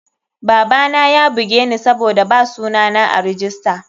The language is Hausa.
Babana yabugeni sabida ba suna na a rijista.